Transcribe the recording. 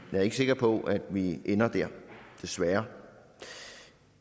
jeg er ikke sikker på at vi ender dér desværre